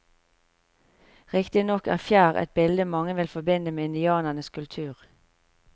Riktignok er fjær et bilde mange vil forbinde med indianernes kultur.